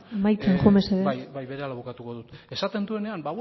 amaitzen joan mesedez bai berehala bukatuko dut esaten duenean